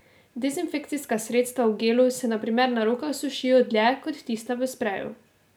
Dezinfekcijska sredstva v gelu se na primer na rokah sušijo dlje kot tista v spreju.